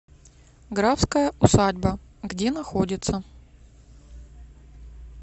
графская усадьба где находится